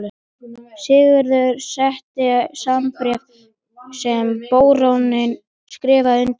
Sigurður setti saman bréf sem baróninn skrifaði undir.